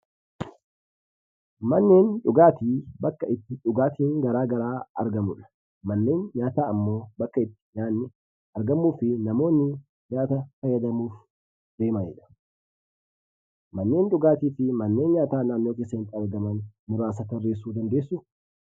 Manneen dhugaatii bakka itti dhugaatiiwwan gara garaa argamudha. Manneen nyaataa ammoo bakka itti nyaatni argamuu fi namoonni nyaata fayyadamuuf deemanidha. Manneen dhugaatii fi manneen nyaataa naannoo keessanitti argamana muraasa tarreessuu nibdandeessuu?